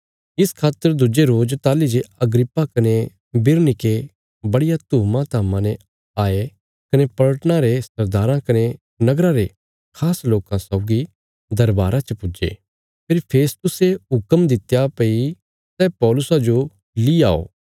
इस खातर दुज्जे रोज ताहली जे अग्रिप्पा कने बिरनीके बड़िया धूमाधाम्मा ने आये कने पलटना रे सरदाराँ कने नगरा रे खास लोकां सौगी दरबारा च पुज्जे फेरी फेस्तुसे हुक्म दित्या भई सै पौलुसा जो ली आओ